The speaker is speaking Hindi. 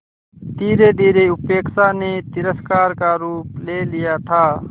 धीरेधीरे उपेक्षा ने तिरस्कार का रूप ले लिया था